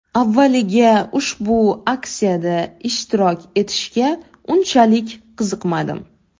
Avvaliga ushbu aksiyada ishtirok etishga unchalik qiziqmadim.